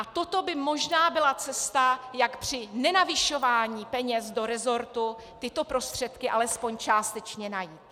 A toto by možná byla cesta, jak při nenavyšování peněz do resortu tyto prostředky alespoň částečně najít.